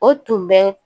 O tun bɛ